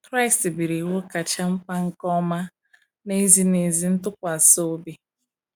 Kraịst biri iwu kacha mkpa nke ọma na ezi na ezi ntụkwasị obi.